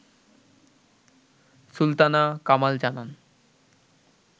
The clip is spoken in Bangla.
সুলতানা কামাল জানান